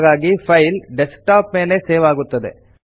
ಹಾಗಾಗಿ file desktop ಮೇಲೆ save ಆಗುತ್ತದೆ